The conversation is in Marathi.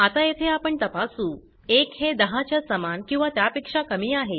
आता येथे आपण तपासू 1 हे 10 च्या समान किंवा त्यापेक्षा कमी आहे